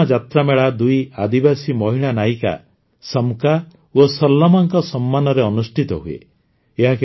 ସରଲମ୍ମା ଯାତ୍ରାମେଳା ଦୁଇ ଆଦିବାସୀ ମହିଳା ନାୟିକା ସମକ୍କା ଓ ସରଲମ୍ମାଙ୍କ ସମ୍ମାନରେ ଅନୁଷ୍ଠିତ ହୁଏ